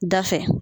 Da fɛ